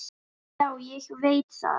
Já, ég veit það